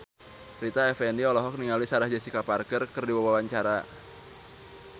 Rita Effendy olohok ningali Sarah Jessica Parker keur diwawancara